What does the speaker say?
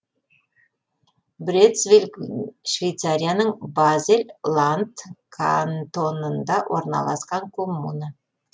брецвиль швейцарияның базель ланд кантонында орналасқан коммуна